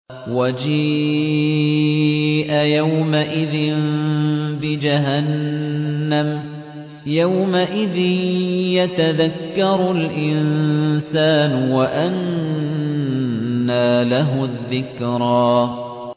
وَجِيءَ يَوْمَئِذٍ بِجَهَنَّمَ ۚ يَوْمَئِذٍ يَتَذَكَّرُ الْإِنسَانُ وَأَنَّىٰ لَهُ الذِّكْرَىٰ